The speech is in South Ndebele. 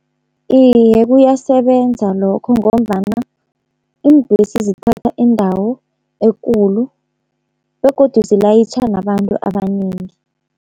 Iye kuyasebenza lokho, ngombana iimbhesi zithatha indawo ekulu begodu zilayitjha nabantu abanengi.